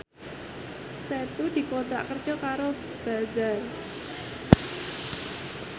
Setu dikontrak kerja karo Bazaar